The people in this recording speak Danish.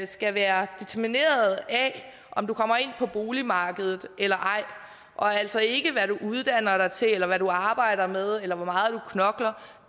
skal være determineret af om du kommer ind på boligmarkedet eller ej og altså ikke af hvad du uddanner dig til eller hvad du arbejder med eller hvor meget du knokler